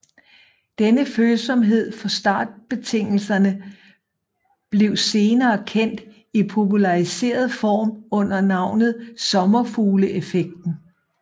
Denne følsomhed for startbetingelserne blev senere kendt i populariseret form under navnet sommerfugleffekten